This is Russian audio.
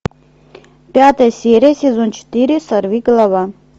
пятая серия сезон четыре сорви голова